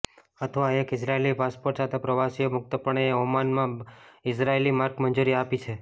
અથવા એક Israeli passport સાથે પ્રવાસીઓ મુક્તપણે ઓમાન માં ઇઝરાયેલી માર્ક મંજૂરી આપી છે